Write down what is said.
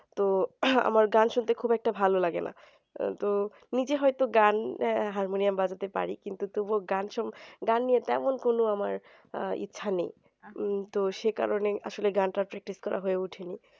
তো আমার গান শুনতে ভালো লাগে না তো নিজে হয়তো গান হারমোনিয়াম বাজাতে পারি কিন্তু তবুও গান সম নিয়ে তেমন কোনো আমার আহ ইচ্ছা নেই তো সে কারণেই আসলে গান টা practice করা হয় নি